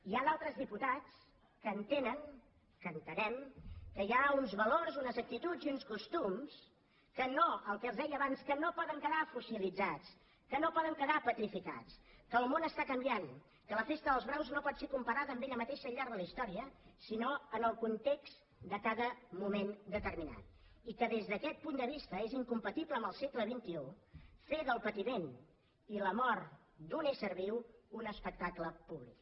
hi ha d’altres diputats que entenen que entenem que hi ha uns valors unes actituds i uns costums que no el que els deia abans poden quedar fossilitzats que no poden quedar petrificats que el món està canviant que la festa dels braus no pot ser comparada amb ella mateixa al llarg de la història sinó en el context de cada moment determinat i que des d’aquest punt de vista és incompatible amb el segle d’un ésser viu un espectable públic